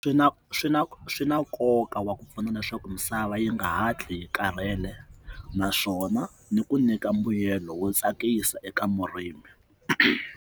Swi na swi na swi na nkoka wa ku pfuna leswaku misava yi nga hatli yi karhele naswona ni ku nyika mbuyelo wo tsakisa eka murimi.